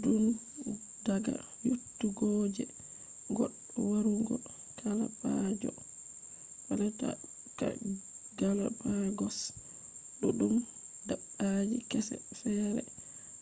tundaga yottugoje goddo warugo galapagos duddum dabbaji kese fere